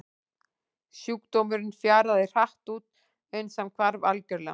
Sjúkdómurinn fjaraði hratt út uns hann hvarf algjörlega.